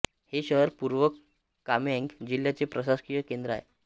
हे शहर पूर्व कामेंग जिल्ह्याचे प्रशासकीय केंद्र आहे